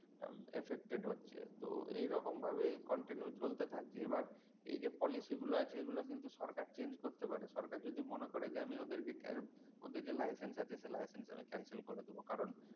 affected হচ্ছে তো এরকম ভাবেই continue চলতে থাকলে এবার এই যে policy গুলো আছে সেগুলো কিন্তু সরকার change করতে পারে সরকার যদি মনে করে আমি ওদেরকে ওদের licence আছে ওই licence cancel করে দেবো কারণ